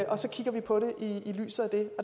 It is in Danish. præsenteret på